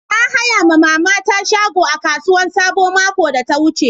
Na haya ma mama ta shago a kasuwan sabo makon da ta wuce